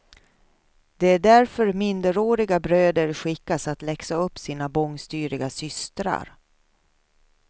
Det är därför minderåriga bröder skickas att läxa upp sina bångstyriga systrar.